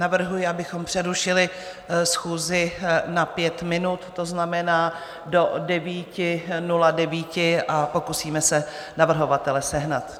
Navrhuji, abychom přerušili schůzi na pět minut, to znamená do 9.09, a pokusíme se navrhovatele sehnat.